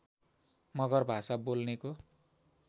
मगर भाषा बोल्नेको